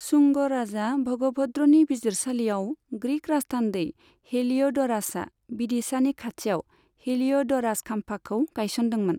शुंग राजा भगभद्रनि बिजिरसालियाव ग्रीक राजथान्दै हेलिय'ड'रासआ विदिशानि खाथियाव हेलिय'ड'रास खाम्फाखौ गायसनदोंमोन।